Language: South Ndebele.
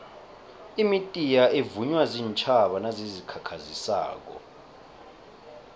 imitiya evunywa ziintjhaba nazizikhakhazisako